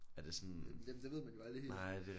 Ja jamen det ved man jo aldrig helt